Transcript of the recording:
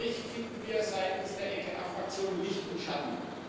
In diesem Bericht finden wir seitens der EKR Fraktion Licht und Schatten.